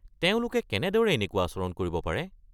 তেওঁলোকে কেনেদৰে এনেকুৱা আচৰণ কৰিব পাৰে?